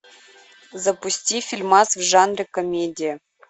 запусти фильмас в жанре комедия